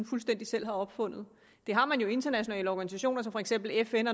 fuldstændig selv har opfundet det har man jo i internationale organisationer som for eksempel fn